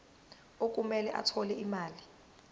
okumele athole imali